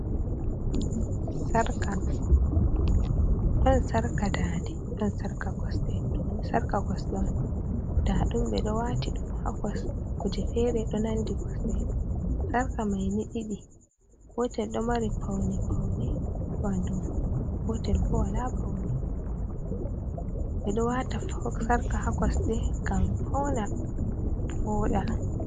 Sarka dande ɗon sarka koste on nda ɗum kuje fere ɗo nandi koste sarka mai ni ɗiɗi. Gotel ɗo mari paune paune wanduma otlbo wala paune ɓe ɗo wata sarka ha koste ngam fauna voɗa.